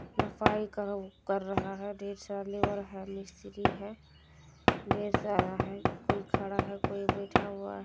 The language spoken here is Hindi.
सफाई कर रहा है ढेर सारा लेबर है मिस्त्री है ढेर सारा है कोई खड़ा है कोई बैठा है।